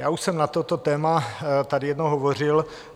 Já už jsem na toto téma tady jednou hovořil.